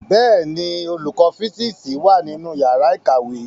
Bẹẹni, olùkọ fisiksi wá nínú yàrá ìkàwé